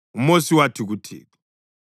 UMosi wathi kuThixo,